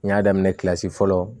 N y'a daminɛ fɔlɔ